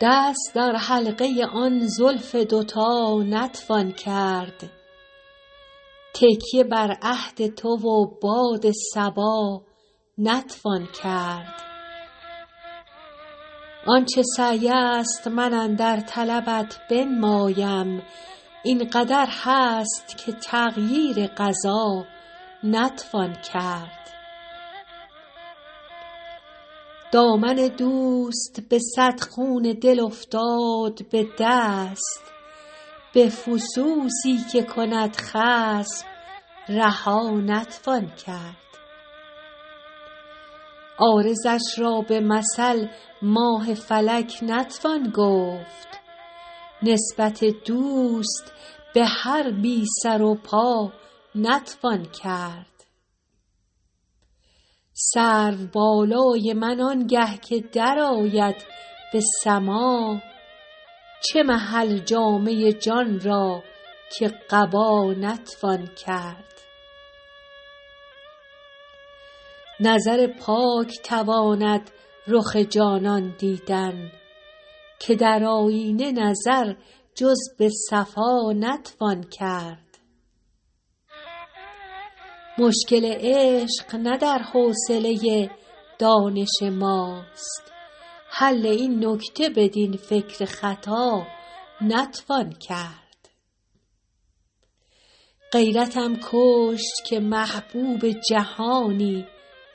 دست در حلقه آن زلف دوتا نتوان کرد تکیه بر عهد تو و باد صبا نتوان کرد آن چه سعی است من اندر طلبت بنمایم این قدر هست که تغییر قضا نتوان کرد دامن دوست به صد خون دل افتاد به دست به فسوسی که کند خصم رها نتوان کرد عارضش را به مثل ماه فلک نتوان گفت نسبت دوست به هر بی سر و پا نتوان کرد سرو بالای من آنگه که درآید به سماع چه محل جامه جان را که قبا نتوان کرد نظر پاک تواند رخ جانان دیدن که در آیینه نظر جز به صفا نتوان کرد مشکل عشق نه در حوصله دانش ماست حل این نکته بدین فکر خطا نتوان کرد غیرتم کشت که محبوب جهانی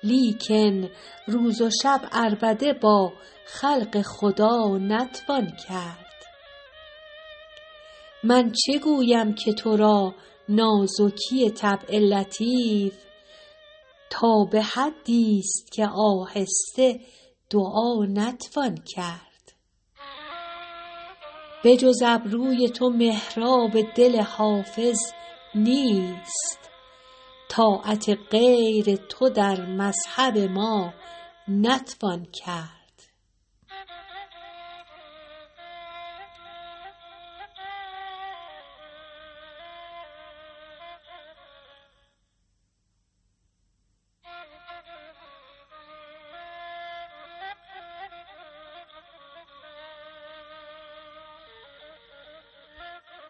لیکن روز و شب عربده با خلق خدا نتوان کرد من چه گویم که تو را نازکی طبع لطیف تا به حدیست که آهسته دعا نتوان کرد بجز ابروی تو محراب دل حافظ نیست طاعت غیر تو در مذهب ما نتوان کرد